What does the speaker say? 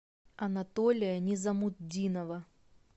анатолия низамутдинова